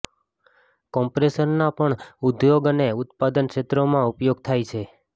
કોમ્પ્રેશરના પણ ઉદ્યોગ અને ઉત્પાદન ક્ષેત્રોમાં ઉપયોગ થાય છે